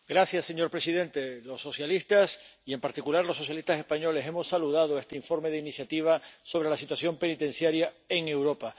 Señor presidente, los socialistas y, en particular, los socialistas españoles nos congratulamos por este informe de propia iniciativa sobre la situación penitenciaria en Europa.